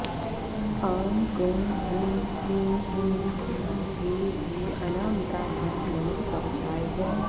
आं क्रों ह्रीं क्लीं ह्रीं हुं घे घे अनामिकाभ्यां नमः कवचाय हुम्